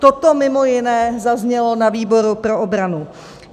Toto mimo jiné zaznělo na výboru pro obranu.